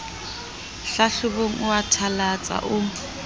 hlahlobong o a thalatsa o